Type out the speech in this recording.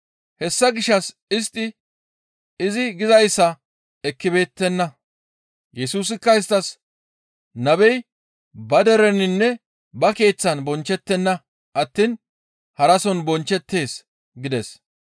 Hessa gishshas istti izi gizayssa ekkibeettenna. Yesusikka isttas, «Nabey ba dereninne ba keeththan bonchchettenna attiin harason bonchchettees» gides.